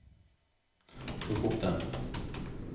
plukk opp den